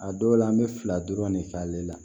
A dɔw la an bɛ fila dɔrɔn ne k'ale la